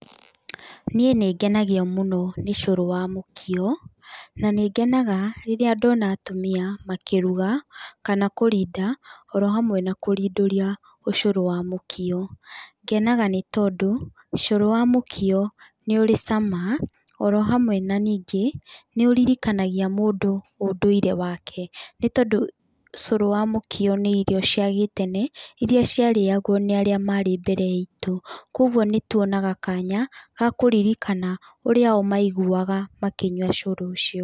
Niĩ nĩ ngenagio mũno nĩ cũrũ wa mũkio, na nĩngenaga rĩrĩa ndona atumia makĩruga kana kũrinda oro hamwe na kũrindũria ũcũrũ wa mũkio. Ngenaga nĩ tondũ, cũrũ wa mũkio nĩ ũrĩ cama, oro hamwe na ningĩ nĩ ũririkanagia mũndũ ũndũire wake, nĩ tondũ cũrũ wa mũkio nĩ irio cia gĩtene, irĩa ciarĩagwo nĩ arĩa marĩ mbere itũ. Kũguo nĩ tuonaga kanya ga kũririkana ũrĩa o maiguaga makĩnyua cũrũ ũcio.